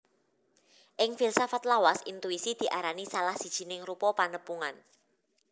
Ing filsafat lawas intuisi diarani salah sijining rupa panepungan